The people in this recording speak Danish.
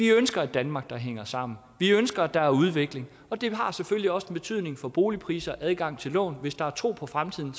ønsker et danmark der hænger sammen vi ønsker at der er udvikling og det har selvfølgelig også betydning for boligpriser og adgang til lån hvis der er tro på fremtiden